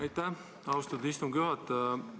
Aitäh, austatud istungi juhataja!